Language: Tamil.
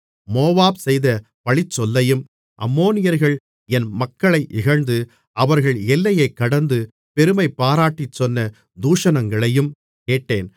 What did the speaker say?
மோவாப் செய்த பழிச்சொல்லையும் அம்மோனியர்கள் என் மக்களை இகழ்ந்து அவர்கள் எல்லையைக் கடந்து பெருமைபாராட்டிச்சொன்ன தூஷணங்களையும் கேட்டேன்